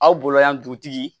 Aw bolo yan dugutigi